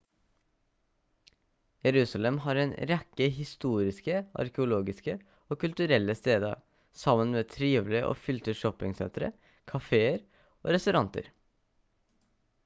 jerusalem har en rekke historiske arkeologiske og kulturelle steder sammen med trivelige og fylte shoppingsentre caféer og restauranter